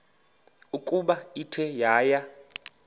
ukuba ithe yaya